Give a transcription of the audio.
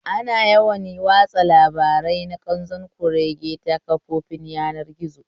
Ana yawan watsa labarai na ƙanzon kurege ta kafafen yanar gizo